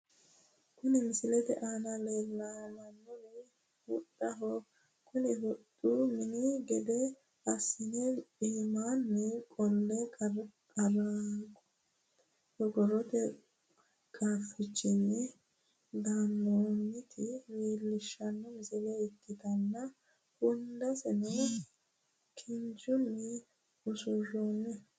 Kuni misilete aana la'neemmori huxxaho kuni huxxu minu gede assine iimaanni qolle qorqorrote qaaffichono gannoonnita leellishshanno misile ikkitanna hundaseno kinchunni usuroonni.